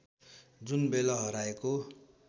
जुनबेला हराएको